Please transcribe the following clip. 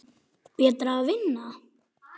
Betra að vinna.